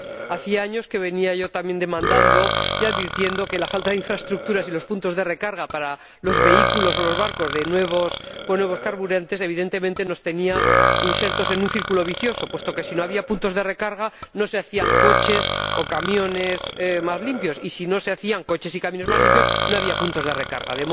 Hacía años que veníamos también advirtiendo de que la falta de infraestructuras y los puntos de recarga para los vehículos o los barcos que utilizan nuevos carburantes evidentemente nos ponía en una situación de círculo vicioso, puesto que, si no había puntos de recarga, no se hacían coches y camiones más limpios, y si no se hacían coches y camiones más limpios, no había puntos de recarga.